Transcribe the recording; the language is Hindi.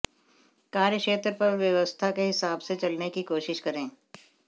कार्यक्षेत्र पर व्यवस्था के हिसाब से चलने की कोशिश करें